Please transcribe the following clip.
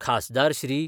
खासदार श्री.